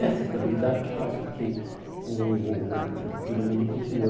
Essa estabilidade que faz com que o o o todo mundo continue.